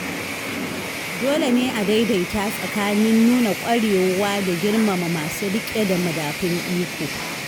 Dole ne a daidaita tsakanin nuna ƙwarewa da girmama masu rike da madafun iko.